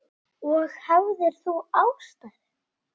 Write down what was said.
Og hafðir þú ástæðu?